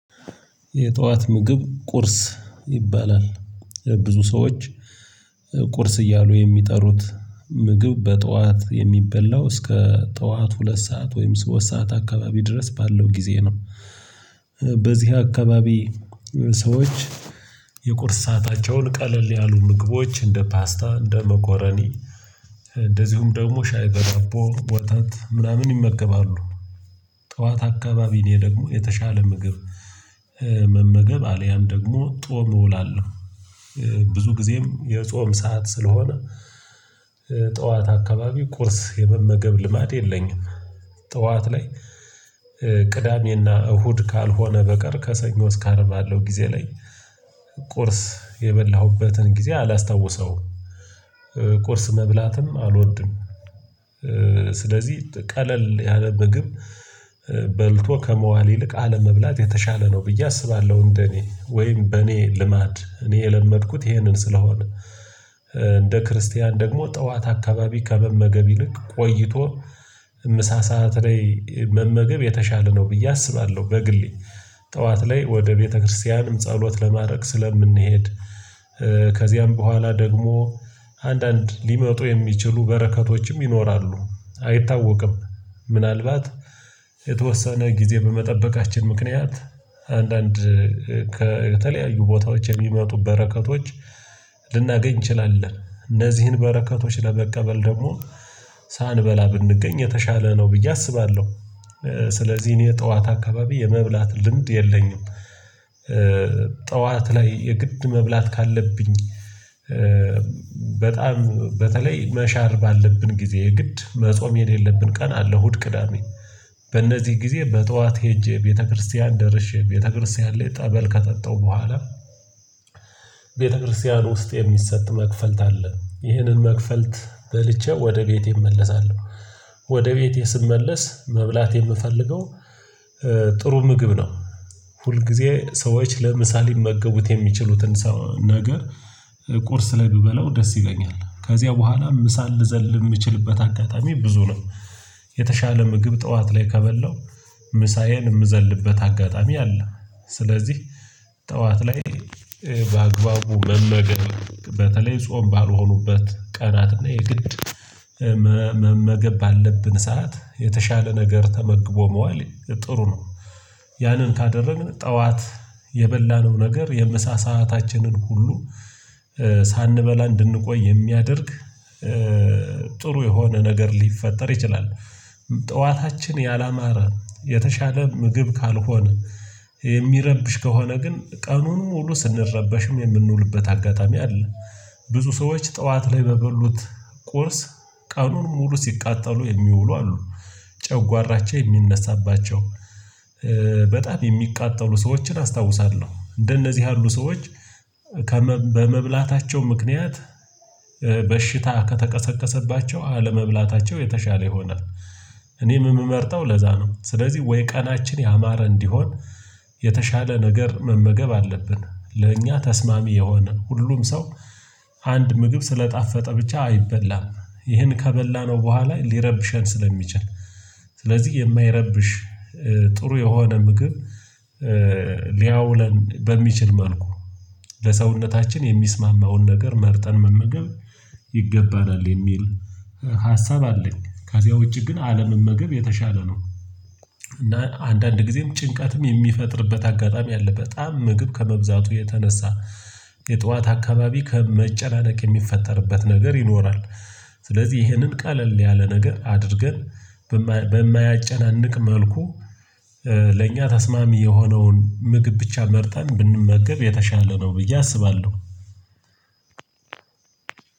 የጠዋት ምግብ ቁርስ ይባላል ብዙ ሰዎች ቁርስ እያሉ የሚጠሩት ምግብ በጠዋት የሚበላው እስከ ጠዋት ሁለት ሰዓት ወይም ሶስት ሰዓት አካባቢ ድረስ ባለው ጊዜ ነው። በዚህ አካባቢ ሰዎች የቁርስ ሰአታቸውን ቀለል ያሉ ምግቦች እንደ ፓስታ እንደ መኮረኒ እንደዚሁም ደግሞ ሻይ በዳቦ ወተት ምናምን ይመገባሉ። ጠዋት አካባቢ እኔ ደግሞ የተሻለ ምግብ መመገብ አልያም ደግሞ ጾም እውላለሁ። ብዙ ጊዜም የጾም ሰዓት ስለሆነ ጠዋት አካባቢ ቁርስ የመመገብ ልማድ የለኝም። ጠዋት ላይ ቅዳሜና እሁድ ካልሆነ በቀር ከሰኞ እስከ አርብ ባለው ጊዜ ላይ ቁርስ የበላሁበትን ጊዜ አላስታውሰውም። ቁርስ መብላትም አልወድም። ስለዚህ ቀለል ያለ ምግብ በልቶ ከመዋል ይልቅ አለመብላት የተሻለ ነው ብዬ አስባለሁ እንደኔ ወይም በኔ ልማድ እኔ የለመድኩት ይሄንን ስለሆነ። እንደ ክርስቲያን ደግሞ ጠዋት አካባቢ ከመመገብ ይልቅ ቆይቶ ምሳ ሰዓት ላይ መመገብ የተሻለ ነው ብዬ አስባለሁ። በግሌ ጠዋት ላይ ወደ ቤተክርስቲያንም ጸሎት ለማድረግ ስለምንሄድ። ከዚያም በኋላ ደግሞ አንዳንድ ሊመጡ የሚችሉ በረከቶችም ይኖራሉ አይታወቅም። ምናልባት የተወሰነ ጊዜ በመጠበቃችን ምክንያት አንዳንድ ከተለያዩ ቦታዎች የሚመጡ በረከቶች ልናገኝ እንችላለን እነዚህን በረከቶች ለመቀበል ደግሞ ሳንበላ ብንገኝ የተሻለ ነው ብዬ አስባለሁ። ስለዚህ እኔ የጠዋት አካባቢ የመብላት ልምድ የለኝም። ጠዋት ላይ የግድ መብላት ካለብኝ በጣም በተለይ መሻር ባለብን ጊዜ ግድ መጾም የሌለብን ቀን አለ እሁድ ቅዳሜ በእነዚህ ጊዜ በጠዋት ሄጄ ቤተክርስቲያን ደርሼ ቤተክርስቲያን ላይ ጸበል ከጠጣው በኋላ። ቤተክርስቲያን ውስጥ የሚሰጥ መክፈልት አለ ይህንን መክፈልት በልቼ ወደ ቤቴ እመለሳለሁ። ወደ ቤቴ ስመለስ መብላት የምፈልገው ጥሩ ምግብ ነው። ሁል ጊዜ ሰዎች ለምሳ ሊመገቡት የሚችሉትን ሰ ነገር ቁርስ ላይ ብበለው ደስ ይለኛል ከዚያ በኋላ ምሳ ልዘል የምችልበት አጋጣሚ ብዙ ነው። የተሻለ ምግብ ጠዋት ላይ ከበላሁ ምሳዬን የምዘልበት አጋጣሚ አለ ስለዚህ ጠዋት ላይ በአግባቡ መመገን በተለይ ጾም ባልሆኑበት ቀናት እና የግድ መመገብ ባለብን ሰዓት የተሻለ ነገር ተመግቦ መዋል ጥሩ ነው። ያንን ካደረግን ጠዋት የበላነው ነገር የምሳ ሰአታችንን ሁሉ ሳንበላ እንድንቆይ የሚያደርግ ጥሩ የሆነ ነገር ሊፈጠር ይችላል። ጠዋታችን ያላማረ የተሻለ ምግብ ካልሆነ የሚረብሽ ከሆነ ግን ቀኑን ሙሉ ስንረበሽም የምንውልበት አጋጣሚ አለ። ብዙ ሰዎች ጠዋት ላይ በበሉት ቁርስ ቀኑን ሙሉ ሲቃጠሉ የሚውሉ አሉ ጨጓራቸው የሚነሳባቸው በጣም የሚቃጠሉ ሰዎችን አስታውሳለሁ እንደነዚህ ያሉ ሰዎች ከመብ በመብላታቸው ምክንያት በሽታ ከተቀሰቀሰባቸው አለመብላታቸው የተሻለ ይሆናል። እኔም የምመርጠው ለዛ ነው። ስለዚህ ወይ ቀናችን ያማረ እንዲሆን የተሻለ ነገር መመገብ አለብን ለእኛ ተስማሚ የሆነ ሁሉም ሰው አንድ ምግብ ስለጣፈጠ ብቻ አይበላም። ይህን ከበላነው በኋላ ሊረብሸን ስለሚችል ስለዚህ የማይረብሽ ጥሩ የሆነ ምግብ ሊያውለን በሚችል መልኩ ለሰውነታችን የሚስማማውን ነገር መርጠን መመገብ ይገባናል። የሚል ሀሳብ አለኝ። ከዚያ ውጪ ግን አለመመገብ የተሻለ ነው። እና አንዳንድ ጊዜም ጭንቀትም የሚፈጥርበት አጋጣሚ አለ በጣም ምግብ ከመብዛቱ የተነሳ የጠዋት አካባቢ ከ መጨናነቅ የሚፈጠርበት ነገር ይኖራል። ስለዚህ ይህንን ቀለል ያለ ነገር አድርገን በማ በማያጨናንቅ መልኩ ለእኛ ተስማሚ የሆነውን ምግብ ብቻ መርጠን ብንመገብ የተሻለ ነው ብዬ አስባለሁ።